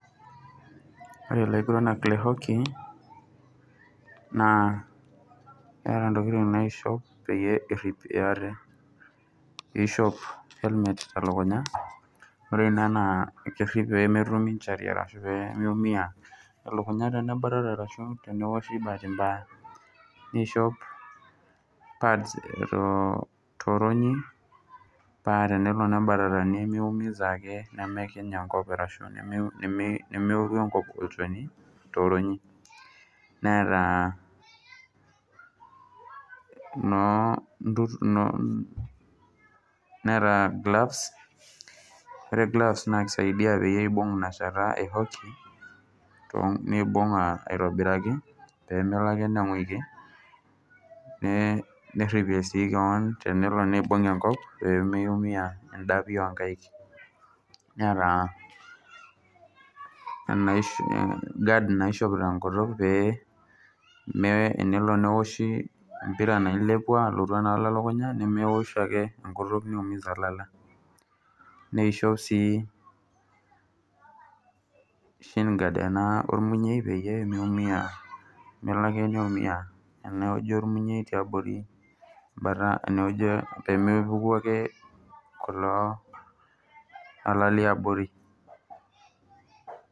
Ore ilaguranak lehwakey naa eeta ntokitin naishop peyie eripie ate , ishop helmet telukunya , ore naa ena ishop pemetum ninche [cs[ injury ashu pemeumia elukunya tenebatata ashu pemeoshi bahati mbaya, nishop pads toronyi paa tenelo nebatata nemiumiza ake ashu nemeoru enkop olchoni toronyi, neeta gloves , ore gloves naa kisaidia peyie ibung inashata ehawkey nibung aitobiraki pemelo ake ninguiki , neripie sii kewon tenelo nibung enkop pemiumia indapi onkaik , neeta guard naishop tenkutuk paa tenelo neoshi empira nailepua enaalo enkutuk nemeosh ake niumiza ilala ashu sheen guard ormunyei peyie melo ake neumia enewueji ormunyei pemepuku ake kulo ala liabori.